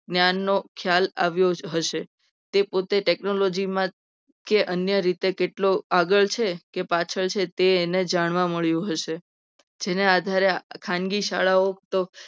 જ્ઞાનનો ખ્યાલ આવ્યો હશે. તે પોતે technology માં કે અન્ય રીતે કેટલો આગળ છે. કે પાછળ છે. તે એને જાણવા મળ્યું હશે. જેને આધારે આપણે ખાનગી શાળાઓ તો